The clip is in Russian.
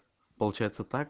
получается так